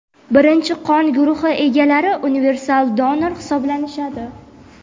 birinchi qon guruhi egalari universal donor hisoblanishadi.